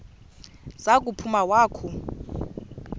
za kuphuma wakhu